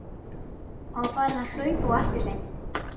Hann var farinn að hlaupa á eftir þeim!